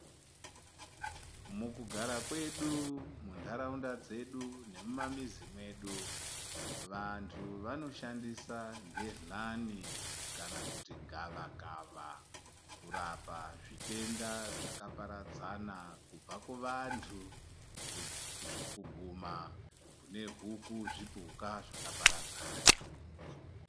Mukugara kwedu, mundarawunda dzedu nemumamizi medu, vantu vanoshandisa bhedhlani kana kuti gavakava kurapa zvitenda zvakaparadzana. Kubva kuvantu kuguma kunehuku, zvipuka zvakaparadzana.